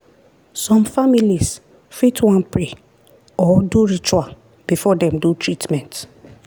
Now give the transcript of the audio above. some families fit wan pray or do ritual before dem do treatment.